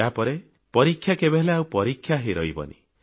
ଏହାପରେ ପରୀକ୍ଷା କେବେହେଲେ ଆଉ ପରୀକ୍ଷା ହୋଇ ରହିବନି